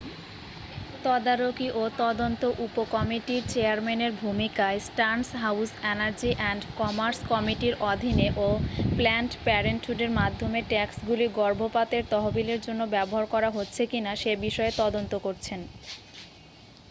তদারকি ও তদন্ত উপকমিটির চেয়ারম্যানের ভূমিকায় Stearns House Energy and Commerce কমিটির অধীনে ও প্ল্যানড প্যারেন্টহুডের মাধ্যমে ট্যাক্সগুলি গর্ভপাতের তহবিলের জন্য ব্যবহার করা হচ্ছে কিনা সে বিষয়ে তদন্ত করছেন